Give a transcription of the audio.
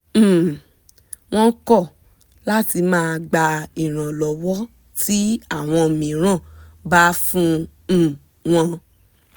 um wọ́n kọ́ láti máa gba ìrànlọ́wọ́ tí áwọn mìíràn bá fún um wọn